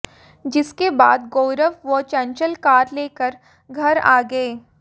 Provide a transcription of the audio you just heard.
जिसके बाद गौरव व चंचल कार लेकर घर आ गए